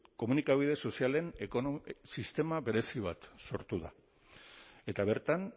komunikabide sozialen sistema berezi bat sortu da eta bertan